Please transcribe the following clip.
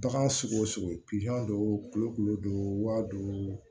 Bagan sugu o sugu don kolo don waa duuru